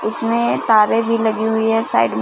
इसमें तारें भी लगी हुई हैं साइड में--